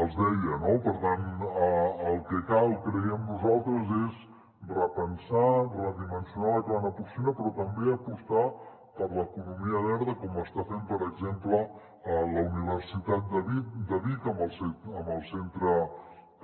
els deia no per tant el que cal creiem nosaltres és repensar redimensionar la cabana porcina però també apostar per l’economia verda com està fent per exem·ple la universitat de vic amb el centre